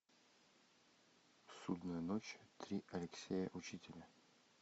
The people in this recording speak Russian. судная ночь три алексея учителя